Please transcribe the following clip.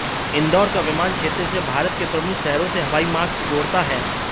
इंदौर का विमानक्षेत्र इसे भारत के प्रमुख शहरो से हवाई मार्ग से जोड़ता है